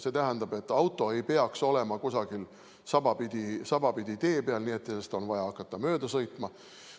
See tähendab, et auto ei peaks olema kusagil sabapidi tee peal, nii et sellest oleks vaja hakata mööda sõitma.